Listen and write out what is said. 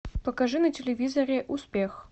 покажи на телевизоре успех